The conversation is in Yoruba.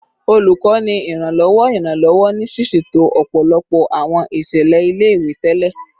Olukọni Iranlọwọ Iranlọwọ ni siseto ọpọlọpọ awọn iṣẹlẹ ile-iwe tẹlẹ